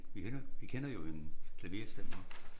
Vi kender vi kender jo en en klaverstemmer